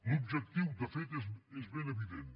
l’objectiu de fet és ben evident